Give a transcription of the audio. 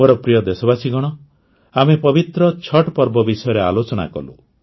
ମୋର ପ୍ରିୟ ଦେଶବାସୀଗଣ ଆମେ ପବିତ୍ର ଛଠ୍ ପର୍ବ ବିଷୟରେ ଆଲୋଚନା କଲୁ